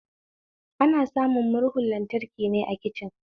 Ana samun murhun lantraki ne a kicin